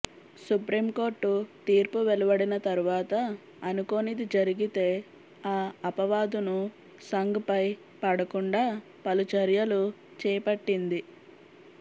supreme court తీర్పు వెలువడిన తర్వాత అనుకోనిది జరిగితే ఆ అపవాదును సంఘ్ పై పడకుండా పలు చర్యలు చేపట్టింది